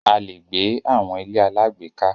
A lè gbé àwọn ilé alágbèéká.